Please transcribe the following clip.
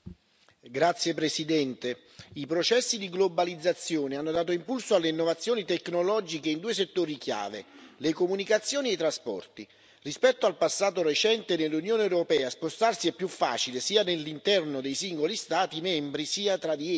Signora Presidente, onorevoli colleghi, i processi di globalizzazione hanno dato impulso alle innovazioni tecnologiche in due settori chiave le comunicazioni e i trasporti. Rispetto al passato recente nell'Unione europea spostarsi è più facile, sia nell'interno dei singoli Stati membri sia tra di essi.